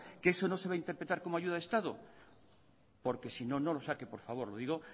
que eso no se va a interpretar como ayuda de estado porque si no no lo saque por favor lo digo